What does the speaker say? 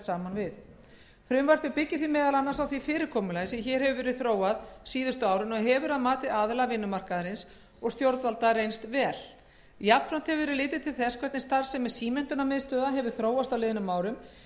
við frumvarpið byggir því meðal annars á því fyrirkomulagi sem hér hefur verið þróað síðustu árin og hefur að mati aðila vinnumarkaðarins og stjórnvalda reynst vel jafnframt hefur verið litið til þess hvernig starfsemi símenntunarmiðstöðva hefur þróast á liðnum árum en